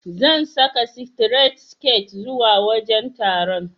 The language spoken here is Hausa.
Zan saka sitiret siket zuwa wajen taron.